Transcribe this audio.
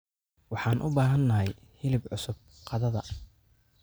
Waxaan u baahanahay hilib cusub qadada.